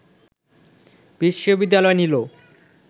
বিশ্ববিদ্যালয় নিল